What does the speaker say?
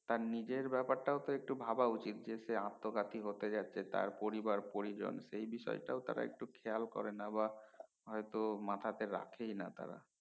তার নিজের ব্যাপারটা একটু ভাবা উচিৎ যে সে আত্মঘাতী হতে যাচ্ছে তার পরিবার পরিজন সেই বিষয় টা একটু খেয়াল করে না বা হয়তো মাথাতে রাখে না তারা